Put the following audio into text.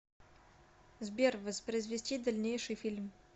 сбер воспроизвести дальнейший фильм